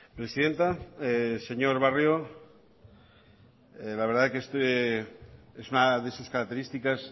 presidenta señor barrio la verdad que esta es una de sus características